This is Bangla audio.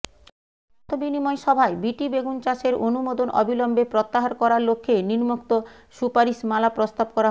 মতবিনিময় সভায় বিটি বেগুন চাষের অনুমোদন অবিলম্বে প্রত্যাহার করার লক্ষ্যে নিম্নোক্ত সুপারিশমালা প্রস্তাব করা হয়